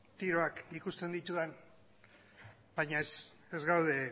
tiroak ikusten ditudan baina ez ez gaude